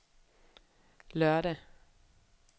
lørdag